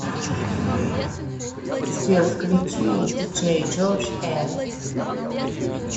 сбер включи диджей джордж э